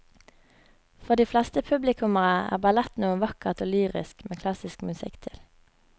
For de fleste publikummere er ballett noe vakkert og lyrisk med klassisk musikk til.